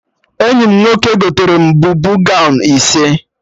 Enyi m nwoke gotere m bubu gọwn ise